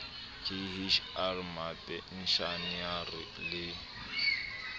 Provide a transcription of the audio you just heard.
k h r mapenshenara le